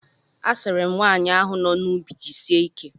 A sịrị m nwaanyị ahụ no n'ubi jisie ike.